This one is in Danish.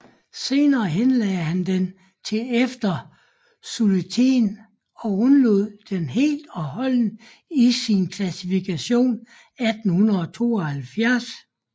Senere henlagde han den til efter solutréen og udelod den helt og holdent i sin klassifikation 1872